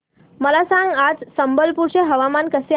मला सांगा आज संबलपुर चे हवामान कसे आहे